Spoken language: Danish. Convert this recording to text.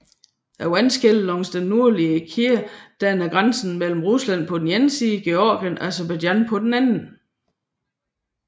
Vandskellet langs den nordlige kæde danner grænse mellem Rusland på den ene side og Georgien og Aserbajdsjan på den anden